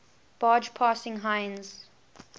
barge passing heinz